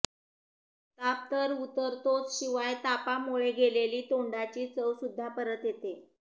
ताप तर उतरतोच शियाव तापामुळे गेलेली तोंडाची चवसुद्धा परत येते